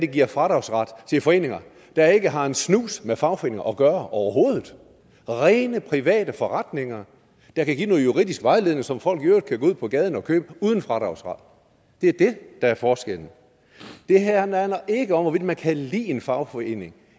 giver fradragsret til medlemmer af foreninger der ikke har en snus med fagforeninger at gøre overhovedet rene private forretninger der kan give noget juridisk vejledning som folk i øvrigt kan gå ud på gaden og købe uden fradragsret det er det der er forskellen det her handler ikke om hvorvidt man kan lide en fagforening